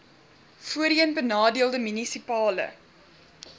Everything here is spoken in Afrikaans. voorheen benadeelde munisipale